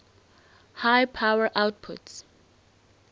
high power outputs